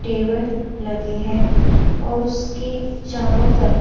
table लगे हैं और उसके चारों तरफ --